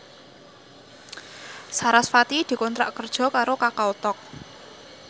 sarasvati dikontrak kerja karo Kakao Talk